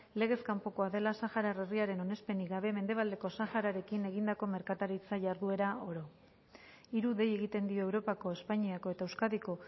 legez kanpokoa dela sahara herriaren onespenik gabe mendebaldeko sahararekin egindako merkataritza jarduera oro hiru dei egiten dio europako espainiako eta euskadiko